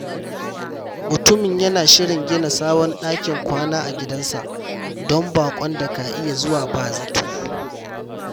Mutumin yana shirin gina sabon dakin kwana a gidansa don baƙon da ka iya zuwa ba zato.